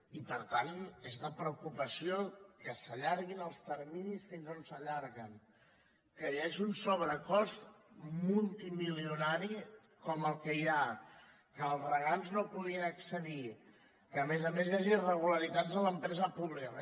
i per tant és de preocupació que s’allarguin els terminis fins on s’allarguen que hi hagi un sobrecost multimilionari com el que hi ha que els regants no hi puguin accedir que a més a més hi hagi irregularitats en l’empresa pública